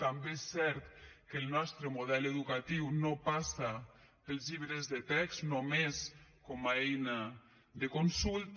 també és cert que el nostre model educatiu no passa pels llibres de text només com a eina de consulta